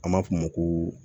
An b'a f'o ma ko